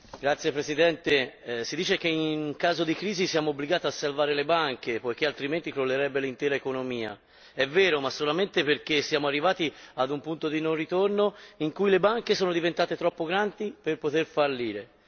Signora Presidente, onorevoli colleghi, si dice che in caso di crisi siamo obbligati a salvare le banche poiché altrimenti crollerebbe l'intera economia. È vero, ma solamente perché siamo arrivati a un punto di non ritorno in cui le banche sono diventate troppo grandi per poter fallire.